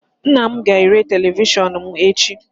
Nnam ga-ere televishionum echi